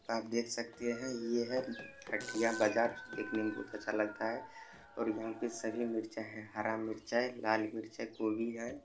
आप देख सकते हैं ये है खटिया बजार देखने में बहोत अच्छा लगता है और यहाँ पे सभी मिर्चा है हरा मिर्च है लाल मिर्च है गोबी है।